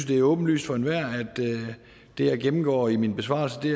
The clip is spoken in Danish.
det er åbenlyst for enhver at det jeg gennemgår i min besvarelse er